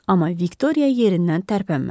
Amma Viktoriya yerindən tərpənmədi.